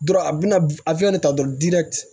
Dɔrɔn a bɛna de ta dɔrɔn